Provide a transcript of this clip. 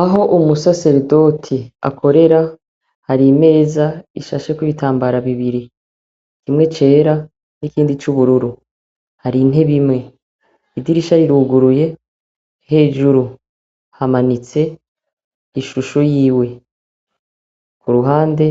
Aho umusaseredoti akorera, hari imeza ishasheko ibitambara bibiri, kimwe cera n'ikindi c’ubururu, hari intebe imwe. Idirisha riruguruye, hejuru hamanitse ishusho yiwe, ku ruhande